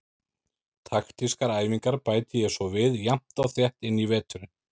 Taktískar æfingar bæti ég svo við jafnt og þétt inn í veturinn.